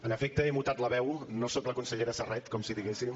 en efecte he mutat la veu no soc la consellera serret com si diguéssim